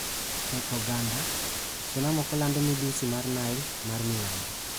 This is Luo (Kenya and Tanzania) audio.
E oganda, suna moko lando midhusi mar Nile ma milambo.